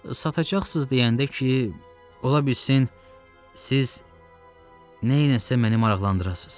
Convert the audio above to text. Satacaqsınız deyəndə ki, ola bilsin siz nəsə məni maraqlandırasız.